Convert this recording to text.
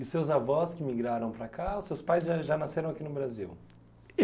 E seus avós que migraram para cá, os seus pais já nasceram aqui no Brasil?